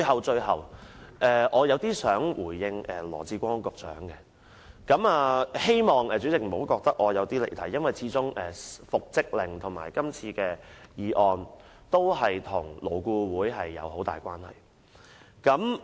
最後，我想回應羅致光局長，希望主席不要認為我離題，因為復職令及今次的議案和勞工顧問委員會有很大關係。